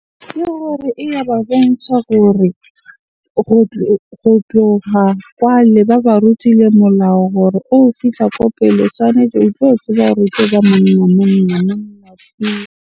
Ke gore eya ba bontsha gore go tloha kwale ba ba rutile molao hore fihla ko pele tshwanetse o tlo tseba hore o tloba monna, monna .